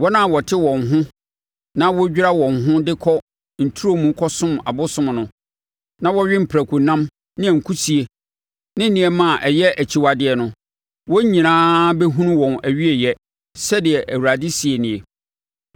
“Wɔn a wɔte wɔn ho na wɔdwira wɔn ho de kɔ nturo mu kɔsom abosom no, na wɔwe prakonam ne akusie ne nneɛma a ɛyɛ akyiwadeɛ no, wɔn nyinaa bɛhunu wɔn awieeɛ,” sɛdeɛ Awurade seɛ nie.